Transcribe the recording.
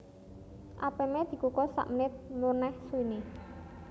Apeme dikukus sak menit meneh suwine